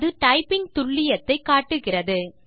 அது டைப்பிங் துல்லியத்தை காட்டுகிறது